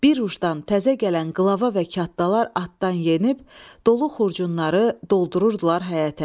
Bir ucdan təzə gələn qlava və kattalar atdan yenib dolu xurcunları doldururdular həyətə.